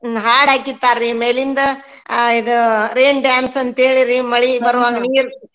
ಹಾಡ್ ಹಾಕಿರ್ತಾರ್ರಿ ಮೇಲಿಂದ ಹಾ ಇದು rain dance ಅಂತೇಳಿ ರಿ ಮಳಿ ಹೆಂಗಿರ್ತೇತ್.